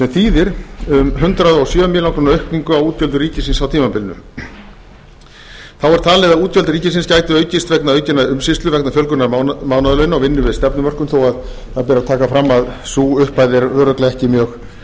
þýðir það hundrað og sjö milljónir króna aukningu á útgjöldum ríkisins einnig er talið að útgjöld ríkisins gætu aukist vegna aukinnar umsýslu vegna fjölgunar mánaðarlauna og vinnu við stefnumörkun þó að það beri að taka fram að sú upphæð er örugglega ekki mjög